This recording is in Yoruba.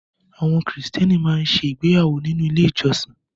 Àwọn Kìrìtẹ́ẹ́nì máa ń ṣe ìgbéyàwó nínú ilé-ìjọsìn.